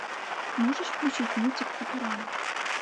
можешь включить мультик футурама